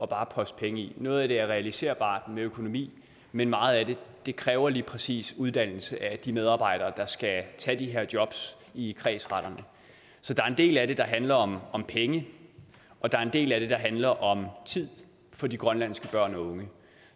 bare at poste penge i det noget af det er realiserbart med økonomi men meget af det kræver lige præcis uddannelse af de medarbejdere der skal tage de her jobs i kredsretterne så der er en del af det der handler om om penge og der er en del af det der handler om tid for de grønlandske børn og unge